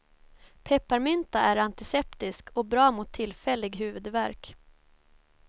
Pepparmynta är antiseptisk och bra mot tillfällig huvudvärk.